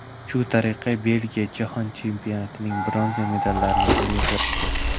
Shu tariqa Belgiya Jahon Chempionatining bronza medallarini qo‘lga kiritdi.